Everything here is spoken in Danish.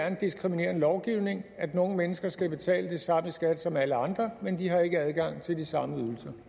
en diskriminerende lovgivning at nogle mennesker skal betale det samme i skat som alle andre men de har ikke adgang til de samme